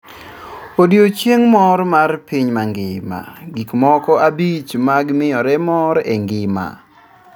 Odioching' mor mar pinymangima:Gikmoko abich mag miyore mor engima